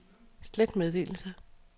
slet meddelelse